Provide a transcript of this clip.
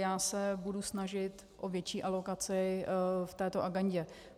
Já se budu snažit o větší alokaci v této agendě.